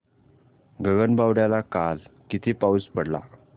गगनबावड्याला काल किती पाऊस पडला